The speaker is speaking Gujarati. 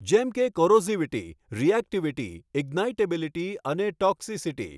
જેમ કે કોરોસીવીટી, રિએક્ટિવિટી, ઇંગ્નાઇટેબીલીટી અને ટોક્સિસિટી.